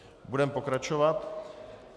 Budeme pokračovat.